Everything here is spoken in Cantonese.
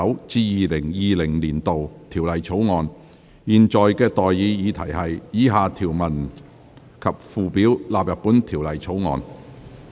我現在向各位提出的待議議題是：以下條文及附表納入本條例草案。